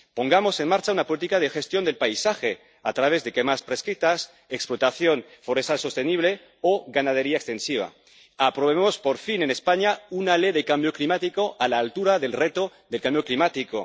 Pongamos en marcha una política de gestión del paisaje a través de quemas prescritas, explotación forestal sostenible o ganadería extensiva. Aprobemos, por fin, en España una ley de cambio climático, a la altura del reto del cambio climático.